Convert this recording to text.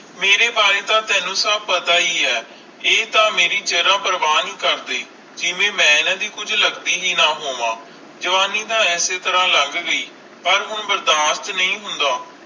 ਮੇਰੇ ਬਾਰੇ ਤੇ ਤੈਨੂੰ ਸਬ ਪਤਾ ਹੀ ਆਈ ਆਈ ਤਾ ਮੇਰੀ ਜ਼ਰਾ ਪ੍ਰਵਾ ਨਹੀਂ ਕਰਦੇ ਜਿਵੇ ਮਈ ਏਨਾ ਦੇ ਕੁਜ ਲੱਗਦੀ ਹੈ ਨਾ ਹੋਵੇ ਜਵਾਨੀ ਤਾ ਐਸੇ ਤਰ੍ਹਾਂ ਲੱਗ ਗਈ ਪਾਰ ਹੁਣ ਬਰਦਾਸ਼ਤ ਨਹੀਂ ਹੋਂਦ